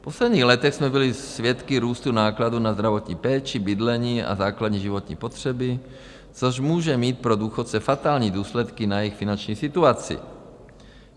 V posledních letech jsme byli svědky růstu nákladů na zdravotní péči, bydlení a základní životní potřeby, což může mít pro důchodce fatální důsledky na jejich finanční situaci.